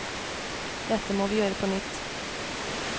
Dette må vi gjøre på nytt.